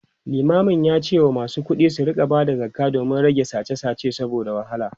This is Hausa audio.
limamin yace masu kuɗi su rinka Bada zakka domin a rage sache sache saboda wahala